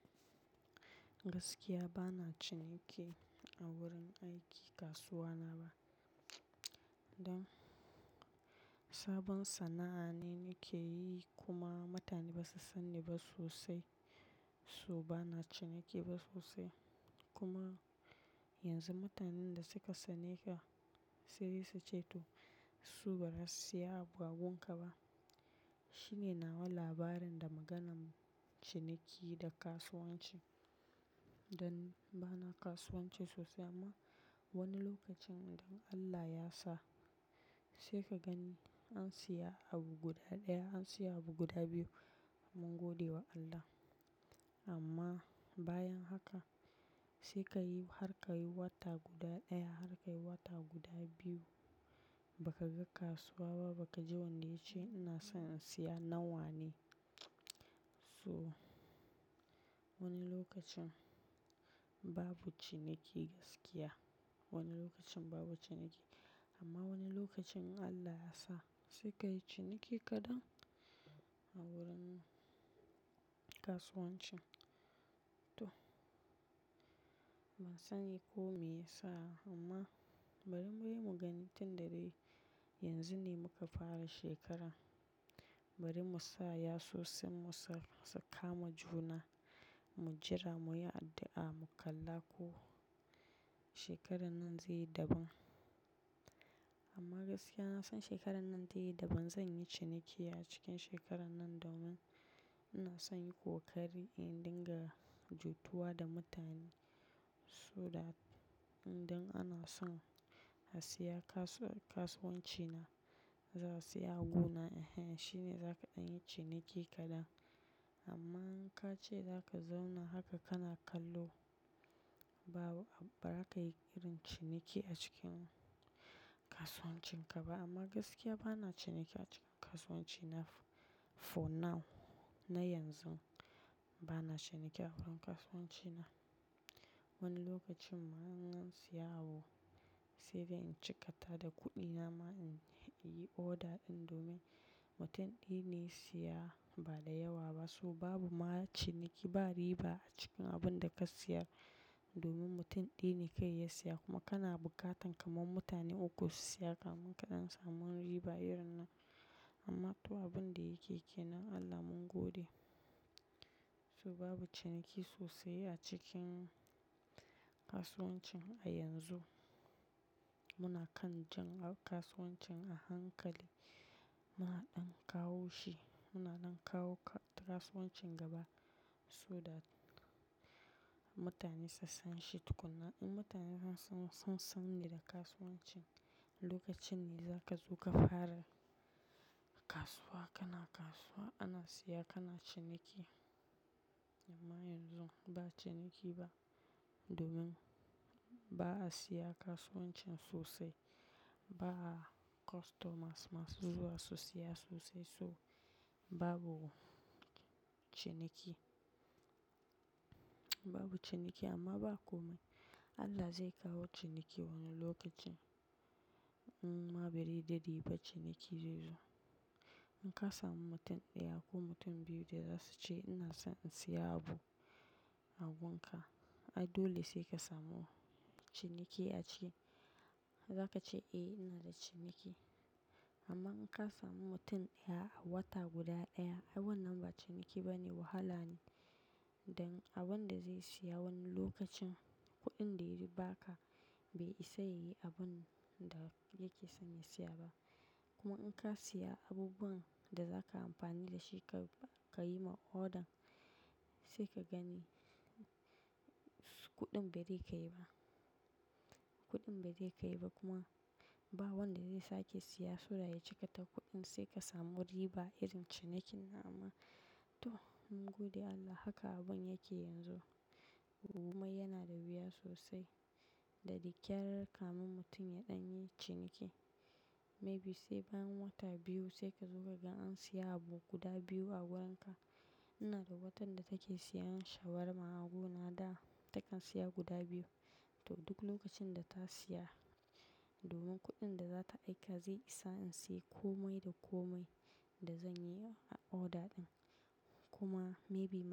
Gaskiya bana ciniki a wurin aiki kasuwa na ba. Don sabon sana'a ne nake yi kuma mutane ba su san ni ba sosai. So bana ciniki ba sosai kuma yanzu mutanen da suka sani ka sai dai su ceto su ba za su saya abu agun ka ba. Shine nawa labarin da maganan ciniki da kasuwanci. Don bana kasuwanci sosai amma wani lokacin idan Allah ya sa sai ka gani an siya abu guda ɗaya an siya abu guda biyu mun gode wa Allah. Amma bayan haka sai ka yi har ka yi wata guda ɗaya har ka yi wata guda biyu baka ga kasuwa ba, baka ji wanda ya ce ina son in siya nawa ne. So wani lokacin babu ciniki gaskiya. Wani lokacin babu ciniki amma wani lokacin Allah ya sa sai ka yi ciniki kaɗan a wurin kasuwancin to. Ban sani ko me ya sa amma bari muyi mugani tun da dai yanzu ne muka fara shekara. Bari mu sa yasu senn mu sa, sa kama juna mu jira muyi addu'a mu kalla ko shekarar nan zai yi daban. Amma gaskiya na son shekarar nan tayi daban. Zan yi ciniki a cikin shekarar nan domin ina son yin kokari in dinga jituwa da mutane so dat, don ana son a siya kasuwa, kasuwancin na za su siya a gona. Ehen, shine zaka ɗan yi ciniki kaɗan amma in ka ce zaka zauna haka kana kallo babu, bazaka yi irin ciniki a cikin kasuwancin ka ba. Amma gaskiya bana ciniki a cikin kasuwanci na for now. Na yanzu bana ciniki a wurin kasuwanci na. Wani lokacin ma in ansiya sai dai in cika ta da kuɗi nama in yi oda ɗin domin mutum ɗaya ne ya siya ba da yawa ba. So babu ma ciniki ba riba a cikin abin da ka siya domin mutum ɗaya ne kawai ya siya kuma kana bukatan kamar mutane uku su siya kamin ka ɗan samu riba irin na. Amma to abin da yake kenan Allah mun gode. So babu ciniki sosai a cikin kasuwancin a yanzu. Muna kan jan kasuwancin a hankali. Muna ɗan kawo shi. Muna nan kawo kasuwancin gaba so that mutane su san shi tukuna. In mutane san, sun sani da kasuwancin lokacin ne zaka zo ka fara kasuwa. Kana kasuwa ana siya kana ciniki. Amma yanzu ba ciniki ba domin ba a siya kasuwancin sosai. Ba customers masu zuwa su siya sosai so babu ciniki. Babu ciniki amma ba komai. Allah zai kawo ciniki wani lokacin. Amma bari dai dai ba ciniki zai zo. In ka samu mutum ɗaya ko mutum biyu da za su ce ina son in siya abu a gun ka. Ai dole sai ka samu ciniki a ciki. Zaka ce "eh ina da ciniki". Amma in ka samu mutum ɗaya a wata guda ɗaya ai wannan ba ciniki ba ne wahala ne. Don abin da zai siya wani lokacin kuɗin da ya yi ba ka bai isa ya yi abun da yake son ya siya ba. Kuma in ka siya abubuwan da zaka amfani da shi ka, ka yi ma odan sai ka gani kuɗin bai zai kai ba. Kuɗin bai zai kai ba kuma ba wanda zai sake siya so that ya cika ta kuɗin sai ka samu riba irin cinikin. Amma to mun gode Allah haka abun yake yanzu. Komai yana da wuya sosai. Da dakyar kafun mutum ya ɗan yi ciniki. Maybe sai bayan wata biyu sai ka zo ka ga an siya abu guda biyu a wurin ka. Ina da watar da take siya shawarma a gona da takan siya guda biyu. To duk lokacin da ta siya domin kuɗin da zata aika zai isa in sayi komai da komai da zan yi a order ɗin. Kuma maybe.